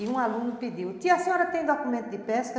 E um aluno pediu, tia, a senhora tem documento de pesca?